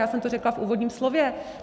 Já jsem to řekla v úvodním slově.